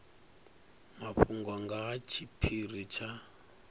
mafhungo nga ha tshiphiri tsha